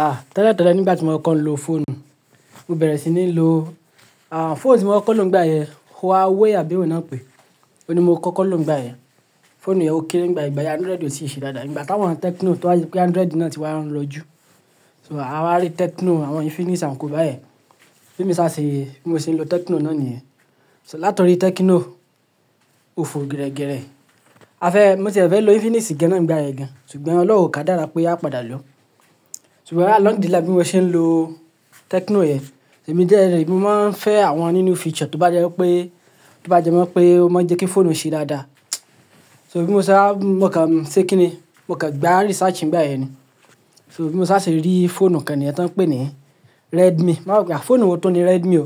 Ah, tẹ̀lẹ̀ tẹ̀lẹ̀ nígbà tí mo kàn ń lo fóònù, mo bẹ̀rẹ̀ sí ní lo, ah, fóònù tí mo kọ́kọ́ ń lo nígbà yẹn Huawei àbí èwò náà pé, òní mo kọ́kọ́ ń lo nígbà yẹn. Fóònù yẹn ó kéré nígbà yẹn, ìgbà yẹn Android ò tì ṣe dáadáa. Nígbà t'áwọn Tecno tó wá yẹn pé Android náà ti wà ń lọjú. So a wá rí Tecno, àwọn Infinix àti bẹ̀ bẹ̀. Bí mo ṣe á ṣe, bí mo ṣe ń lo Tecno náà níyẹn. So látòrí Tecno ò fò gírẹ́gírẹ́, a fẹ́, mo sì fẹ́ lo Infinix gẹ́ náà nígbà yẹn gan-an, ṣùgbọ́n Ọlọ́run kà dára pé a padà lọ. Ṣùgbọ́n àlànídìrí láti bí mo ṣe ń lo Tecno yẹn, ṣèmi jẹ̀rí mo máa ń fẹ́ àwọn títún feature tó bá jẹ́ pé, tó bá jẹ́ mọ́ pé ó máa ń jẹ́ kí fóònù ṣe dáadáa. So bí mo ṣe a, mo kàn ń ṣe kíni, mo kàn ń gba research nígbà yẹn ni. So bí mo sá ṣe rí fóònù kan nìyẹn tí wọ́n ń pè ní Redmi. Má wá wò pé fóònù wo tó ni Redmi o.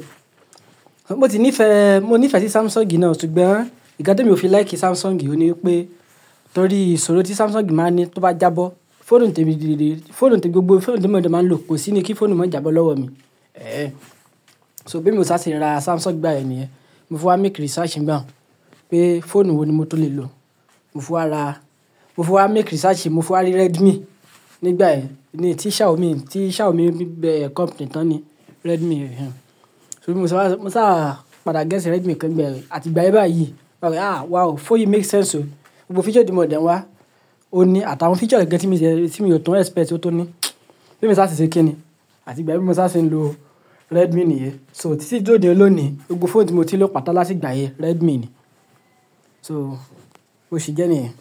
Mo si nífẹ̀ẹ́, mo nífẹ̀ẹ́ sí Samsung náà ṣùgbọ́n ìgan tí òmi ò fi like Samsung òní pé nítorí ìṣòro tí Samsung máa ń ní tó bá jábọ́, fóònù tébi dìde, fóònù té gbogbo fóònù tí mòde máa ń lò kò sí ni kí fóònù má jàbọ́ lọ́wọ́ mi. Ẹ́ẹ́. So bí mo sá ṣe ra Samsung gbà yẹn níyẹn. Mo fún wa make research nígbà wọ́n pé fóònù wo ni mo tó lè lò. Mo fún wa ra, mo fún wa se research, mo fún wa rí Redmi nígbà yẹn ni tí Xiaomi, tí Xiaomi bẹ̀ company tán ni Redmi. So bí mo sá, mo sá padà rà Redmi kan nígbà yẹn, àti ìgbà yìí báyìí, máa rí ah wow, fóònù yìí dára gan o. Gbogbo feature tí mò de wá ó ní àtàwọn feature gẹ́gẹ́ tí mo ṣe, tí mo yóò tún expect kí ó tó ní. Bí mo sá ṣe ṣe kíni. Àti ìgbà bí mo sá ṣe ń lo Redmi nìyẹn. So títí di òní, gbogbo fóònù tí mo ti lò patà látìgbà yẹn Redmi ni. So bó ṣé jẹ́ nìyẹn.